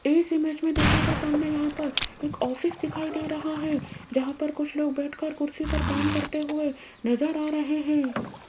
इस इमेज में देखियेगा सामने यहाँ पर एक ऑफिस दिखाई दे रहा है जहाँ पर कुछ लोग बैठ कर कुर्सी पर काम करते हुए नजर आ रहे हैं।